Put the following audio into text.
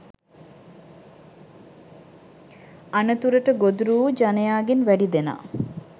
අනතුරට ගොදුරු වූ ජනයාගෙන් වැඩි දෙනා